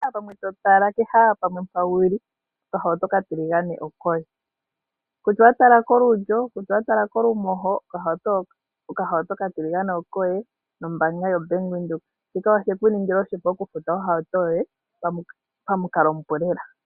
Kehe tuu mpoka to tala nenge wu li okahauto okatiligane okoye. Kutya owa tala kolulyo nenge kolumoho okahauto okatiligane okoye nombaanga yoBank Windhoek. Shika oshe ku ningila oshipu okufuta ohauto yoye pamukalo omupu lela.